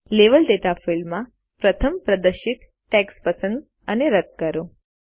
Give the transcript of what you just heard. level data ફિલ્ડમાં પ્રથમ પ્રદર્શિત ટેક્સ્ટ પસંદ અને રદ કરો